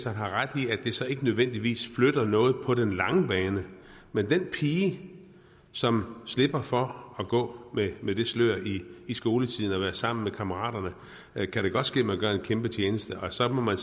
har ret i at det så ikke nødvendigvis flytter noget på den lange bane men den pige som slipper for at gå med det slør i skoletiden er sammen med kammeraterne kan det godt ske at man gør en kæmpe tjeneste så må man